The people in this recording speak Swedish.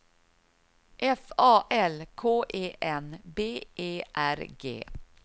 F A L K E N B E R G